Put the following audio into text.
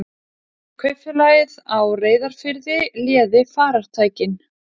Kaupfélagið á Reyðarfirði léði farartækin.